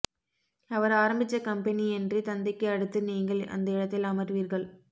அவர் ஆரம்பிச்ச கம்பெனி என்று தந்தைக்கு அடுத்து நீங்கள் அந்த இடத்தில் அமர்வீர்கள்